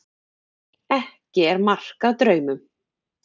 Ekki er mark að draumum.